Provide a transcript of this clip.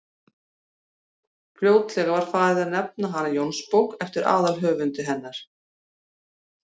fljótlega var farið að nefna hana jónsbók eftir aðalhöfundi hennar